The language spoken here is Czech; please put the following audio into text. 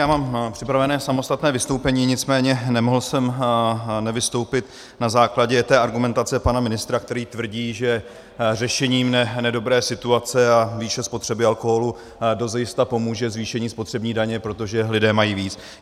Já mám připravené samostatné vystoupení, nicméně nemohl jsem nevystoupit na základě té argumentace pana ministra, který tvrdí, že řešení nedobré situace a výše spotřeby alkoholu dozajista pomůže zvýšení spotřební daně, protože lidé mají víc.